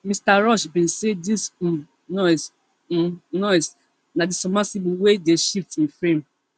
mr rush bin say dis um noise um noise na di submersible wey dey shift e frame